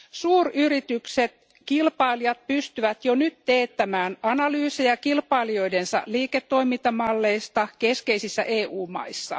Suuryritysten kilpailijat pystyvät jo nyt teettämään analyysejä kilpailijoidensa liiketoimintamalleista keskeisissä EU maissa.